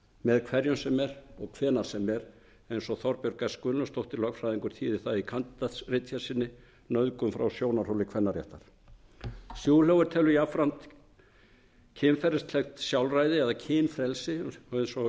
með hverjum sem er og hvenær sem er eins og þorbjörg s gunnlaugsdóttir lögfræðingur þýðir það í kandídatsritgerð sinni nauðgun frá sjónarhóli kvennaréttar schulhofer telur jafnframt að kynferðislegt sjálfræði eða kynfrelsi eins og